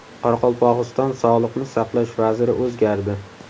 Qoraqalpog‘iston sog‘liqni saqlash vaziri o‘zgardi.